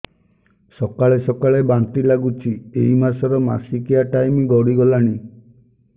ସକାଳେ ସକାଳେ ବାନ୍ତି ଲାଗୁଚି ଏଇ ମାସ ର ମାସିକିଆ ଟାଇମ ଗଡ଼ି ଗଲାଣି